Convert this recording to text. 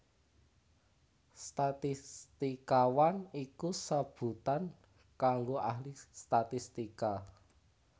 Statistikawan iku sebutan kanggo ahli statistika